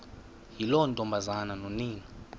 yiloo ntombazana nonina